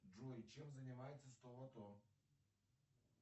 джой чем занимается сто лото